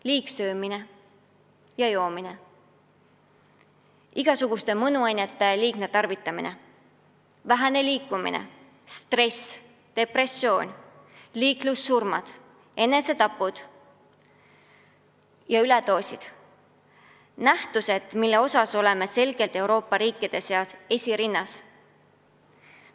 Liigsöömine ja -joomine, igasuguste mõnuainete liigne tarvitamine, vähene liikumine, stress, depressioon, liiklussurmad, enesetapud ja üledoosid – need on nähtused, mille osas oleme selgelt Euroopa riikide seas esirinnas.